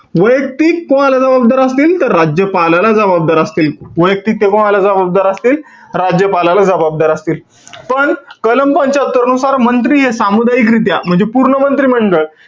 वैयक्तिक कोणाला जबाबदार असतील? तर राज्यपालाला जबाबदार असतील. वैयक्तिक ते कोणाला जबाबदार असतील? राज्यपालाला जबाबदार असतील. पण, कलम पंच्यात्तरनुसार मंत्री हे सामुदायिकरित्या म्हणजे पूर्ण मंत्रिमंडळ,